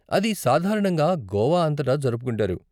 అది సాధారణంగా గోవా అంతటా జరుపుకుంటారు.